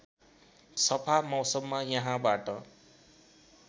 सफा मौसममा यहाँबाट